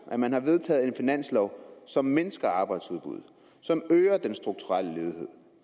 at man har vedtaget en finanslov som mindsker arbejdsudbuddet som øger den strukturelle ledighed